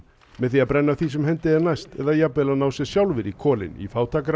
með því að brenna því sem hendi er næst eða jafnvel að ná sér sjálfir í kolin í